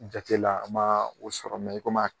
Jatela a ma o sɔrɔ i kɔmi